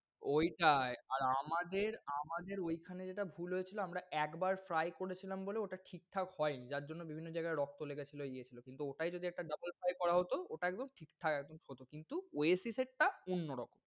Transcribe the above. ওইটায় আর আমাদের আমাদের ওইখানে যেইটা ভুল হয়েছিল আমরা একবার fry করেছিলাম বলে ওটা ঠিকঠাক হয়নি। যার জন্য বিভিন্ন জায়গায় রক্ত লেগেছিল ইয়ে ছিল কিন্তু ওটায় যদি একটা double fry করা হোত ওটা একদম ঠিকঠাক একদম হোত কিন্তু Oasis এর টা অন্যরকম।